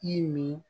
I ye nin